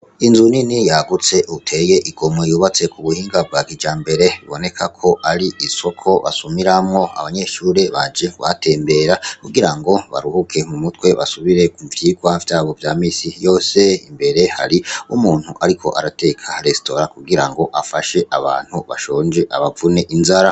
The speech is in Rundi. Inzu nini yagutse iteye igomwe yubatse ku buhinga bwa kijambere biboneka ko ar'isoko basumiramwo abanyeshure baje kuhatembera kugira baruhuke mumutwe basubire mu vyigwa vyabo vya misi yose, mbere hari n'umuntu ariko arateka resitora kugira ngo afashe abantu bashonje abavune inzara.